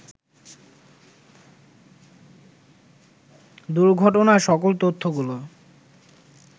দুর্ঘটনার সকল তথ্যগুলো